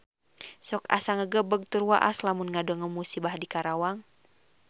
Sok asa ngagebeg tur waas lamun ngadangu musibah di Karawang